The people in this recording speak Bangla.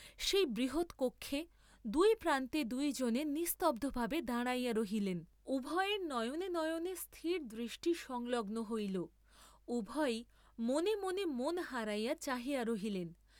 সেই বৃহৎ কক্ষে, দুই প্রান্তে দুইজনে নিস্তব্ধভাবে দাঁড়াইয়া রহিলেন, উভয়ের নয়নে নয়নে স্থির দৃষ্টি সংলগ্ন হইল, উভয়ে মনেমনে মন হারাইয়া চাহিয়া রহিলেন।